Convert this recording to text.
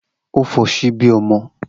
O fo sibi omo